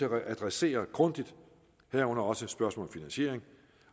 at adressere grundigt herunder også et spørgsmål om finansiering